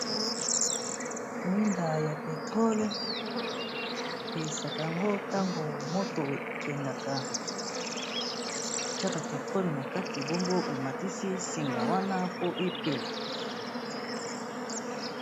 Mwinda ya petrole, pelisaka yango ntango moto ekendaka tshaka petrole na kati bongo omatisi singa wana po epela.